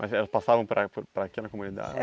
Mas elas passavam por a por por aqui na comunidade?